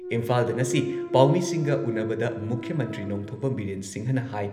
ꯏꯝꯐꯥꯜꯗ ꯉꯁꯤ ꯄꯥꯎꯃꯤꯁꯤꯡꯒ ꯎꯟꯅꯕꯗ ꯃꯨꯈ꯭ꯌ ꯃꯟꯇ꯭ꯔꯤ ꯅꯣꯡꯊꯣꯝꯕꯝ ꯕꯤꯔꯦꯟ ꯁꯤꯡꯍꯅ ꯍꯥꯏ